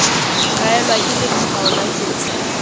kaelwa ke letshwao la tsela